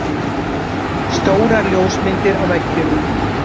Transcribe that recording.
Stórar ljósmyndir á veggjunum.